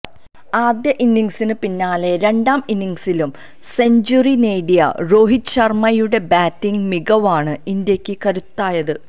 ആദ്യ ഇന്നിംഗ്സിന് പിന്നാലെ രണ്ടാം ഇന്നിംഗ്സിലും സെഞ്ചുറി നേടിയ രോഹിത് ശർമ്മയുടെ ബാറ്റിംഗ് മികവാണ് ഇന്ത്യക്ക് കരുത്തായത്